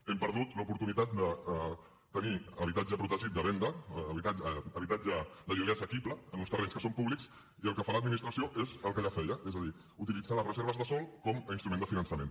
hem perdut l’oportunitat de tenir habitatge protegit de venda habitatge de lloguer assequible en uns terrenys que són públics i el que fa l’administració és el que ja feia és a dir utilitzar les reserves de sòl com a instrument de finançament